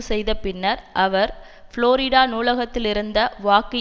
செய்தபின்னர் அவர் புளோரிடா நூலகத்திலிருந்த வாக்கு